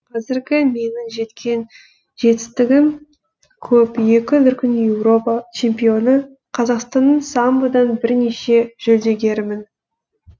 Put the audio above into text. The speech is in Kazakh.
қазіргі менің жеткен жетістігім көп екі дүркін еуропа чемпионы қазақстанның самбодан бірнеше жүлдегерімін